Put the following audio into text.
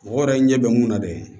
Mɔgɔ yɛrɛ ɲɛ bɛ mun na dɛ